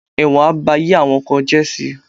Ẹ̀wọ̀n á ba ayé àwọn kan jẹ́ si